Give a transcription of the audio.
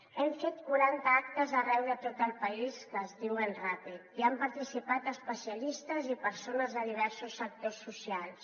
hem fet quaranta actes arreu de tot el país que es diuen ràpid hi han participat especialistes i persones de diversos sectors socials